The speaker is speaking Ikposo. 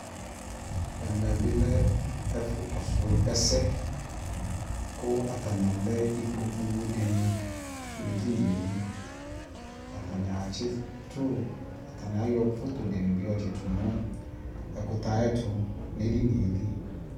ɛmɛ bi lɛ ɛfʋ kɔsʋ ɛsɛ kʋ atani alɛ ikpɔkʋ dini nʋ ɛdiniɛ li, atani atsi tʋ, atani ayɔ photo dini yɔ tsitʋ nʋ ɛkʋtɛ ayɛtʋ nʋ ɛdiniɛ li